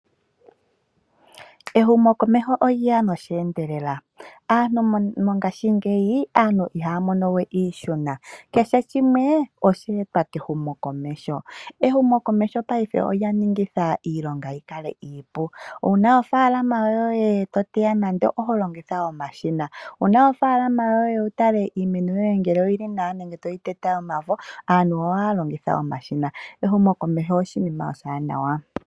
Ehumokomeho olye ya nosheendelela, aantu mongaashingeyi, aantu ihaya mono we iihuna, kehe shimwe oshe etwa kehumokomeho. Ehumokomeho paife olya ningitha iilonga yi kale iipu. Uuna ofaalama yoye to teya nande, oho longitha omashina. Wuna ofaalama yoye wu tale iimeno yoye ngele oyili nawa nenge to yi tete omafo, aantu ohaya longitha omashina. Ehumokomeho oshinima oshiwaanawa.